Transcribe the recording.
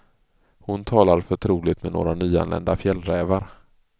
Hon talar förtroligt med några nyanlända fjällrävar.